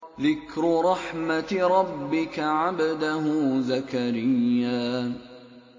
ذِكْرُ رَحْمَتِ رَبِّكَ عَبْدَهُ زَكَرِيَّا